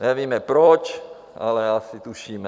Nevíme proč, ale asi tušíme.